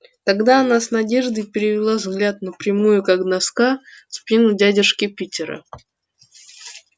тогда она с надеждой перевела взгляд на прямую как доска спину дядюшки питера